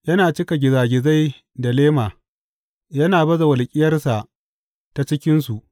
Yana cika gizagizai da lema; yana baza walƙiyarsa ta cikinsu.